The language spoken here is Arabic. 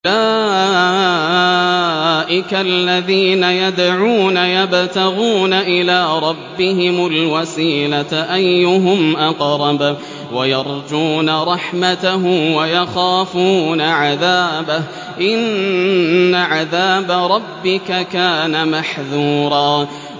أُولَٰئِكَ الَّذِينَ يَدْعُونَ يَبْتَغُونَ إِلَىٰ رَبِّهِمُ الْوَسِيلَةَ أَيُّهُمْ أَقْرَبُ وَيَرْجُونَ رَحْمَتَهُ وَيَخَافُونَ عَذَابَهُ ۚ إِنَّ عَذَابَ رَبِّكَ كَانَ مَحْذُورًا